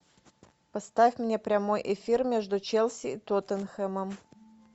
поставь мне прямой эфир между челси и тоттенхэмом